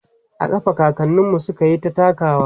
a ƙafa kakaninmu sukyita takawa